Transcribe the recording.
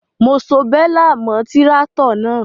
Mo so bélà mọ́ tíráátọ̀ náà.